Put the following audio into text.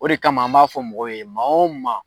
O de kama an b'a fɔ mɔgɔw ye maa o maa